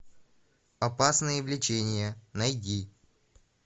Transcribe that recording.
опасные влечения найди